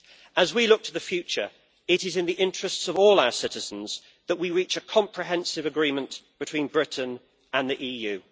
As we look to the future, it is in the interests of all our citizens that we reach a comprehensive agreement between Britain and the EU.